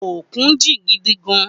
Ókún jin gidi gán